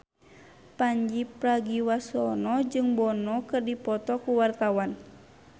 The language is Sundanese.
Pandji Pragiwaksono jeung Bono keur dipoto ku wartawan